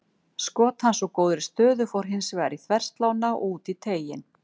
Skot hans úr góðri stöðu fór hins vegar í þverslánna og út í teiginn.